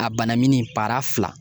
A bana min bara fila.